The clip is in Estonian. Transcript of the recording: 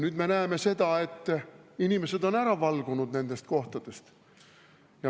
Nüüd me näeme seda, et inimesed on ära valgunud nendest kohtadest.